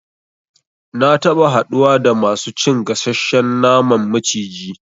Na taba haɗuwa da masu cin gasashshen naman maciji